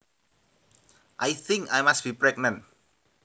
I think I must be pregnant